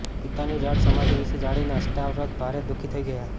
પિતાની જળ સમાધિ વિશે જાણીને અષ્ટાવક્ર ભારે દુઃખી થઈ ગયા